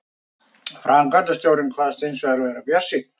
Framkvæmdastjórinn kvaðst hins vegar vera bjartsýnn